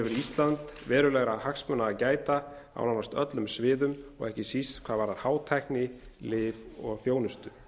ísland verulegra hagsmuna að gæta á nánast öllum sviðum og ekki síst hvað varðar hátækni lyf og þjónustu